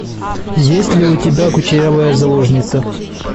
есть ли у тебя кучерявая заложница